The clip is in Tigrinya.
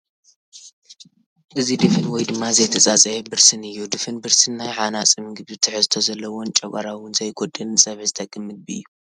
እዚ ድፍን ወይ ድማ ዘይተፀፀየ ብርስን እዩ፡ ድፍን ብርስን ናይ ሓናፂ ምግቢ ትሕዝቶ ዘለዎን ንጨጎራ 'ውን ዘይጎድእን ንፀብሒ ዝጠቕም ምግቢ እዩ ።